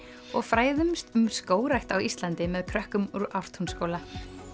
og fræðumst um skógrækt á Íslandi með krökum úr Ártúnsskóla